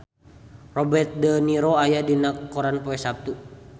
Robert de Niro aya dina koran poe Saptu